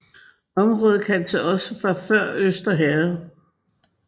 Området kaldtes også for Før Øster Herred